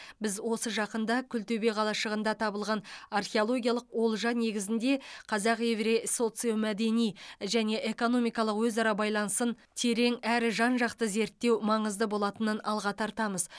біз осы жақында күлтөбе қалашығында табылған археологиялық олжа негізінде қазақ еврей социомәдени және экономикалық өзара байланысын терең әрі жан жақты зерттеу маңызды болатынын алға тартамыз